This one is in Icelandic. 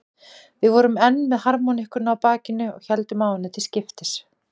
Við vorum enn með harmóníkuna á bakinu og héldum á henni til skiptis.